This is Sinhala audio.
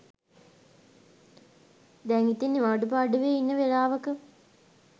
දැන් ඉතිං නිවාඩු පාඩුවේ ඉන්න වෙලාවක